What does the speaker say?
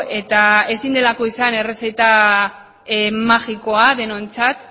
eta ezin delako izan errezeta magikoa denontzat